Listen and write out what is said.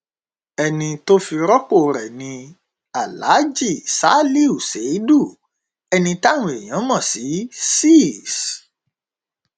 ẹni tó fi rọpò rẹ ni alhaji salihu ṣèìdú ẹni táwọn èèyàn mọ sí sís